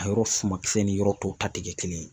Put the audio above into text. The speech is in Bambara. A yɔrɔ sumakisɛ ni yɔrɔ tɔw ta ti kɛ kelen ye.